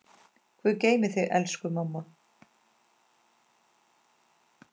Guð geymi þig, elsku mamma.